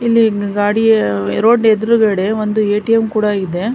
ಇಲ್ಲಿ ಗಡಿಯ ರೋಡ್ನ್ ಎದುರುಗಡೆ ಒಂದು ಎ.ಟಿ.ಎಂ ಕೂಡ ಇದೆ.